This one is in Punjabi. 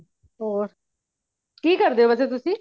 ਹੋਰ ਕਿ ਕਰਦੇ ਹੋ ਵੈਸੇ ਤੁਸੀ